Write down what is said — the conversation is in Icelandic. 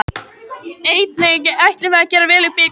Einnig ætlum við að gera vel í bikarnum.